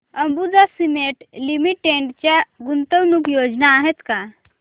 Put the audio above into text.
Ambuja cement limited च्या गुंतवणूक योजना आहेत का